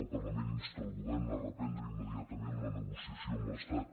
el parlament insta el govern a reprendre immediatament la negociació amb l’estat